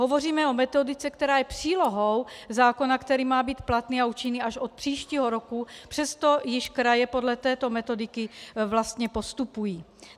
Hovoříme o metodice, která je přílohou zákona, který má být platný a účinný až od příštího roku, přesto již kraje podle této metodiky vlastně postupují.